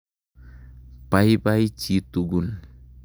Paipai chi tukul.